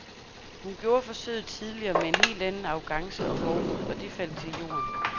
Hun gjorde forsøget tidligere med en helt anden arrogance og hovmod, og det faldt til jorden.